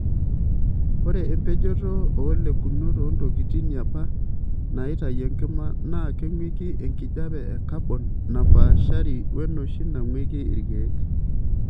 Ore empejoto oolekunot oontokitin yapa naitayu enkima naa keingweki enkijiepe e kabon napaashari wenoshi nangweiki ilkeek.